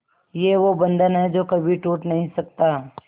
ये वो बंधन है जो कभी टूट नही सकता